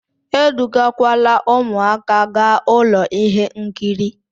Edugakwala ụmụaka gaa ụlọ ihe nkiri!